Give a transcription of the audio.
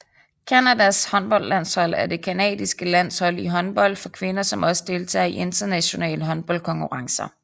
Canadas håndboldlandshold er det canadiske landshold i håndbold for kvinder som også deltager i internationale håndboldkonkurrencer